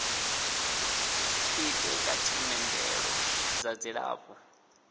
ite kha themendelo dza dzilafho